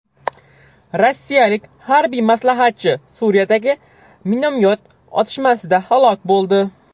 Rossiyalik harbiy maslahatchi Suriyadagi minomyot otishmasida halok bo‘ldi.